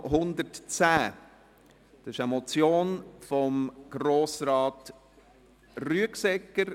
Es ist eine Motion von Grossrat Rüegsegger.